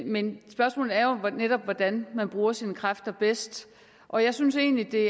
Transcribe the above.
men spørgsmålet er jo netop hvordan man bruger sine kræfter bedst og jeg synes egentlig det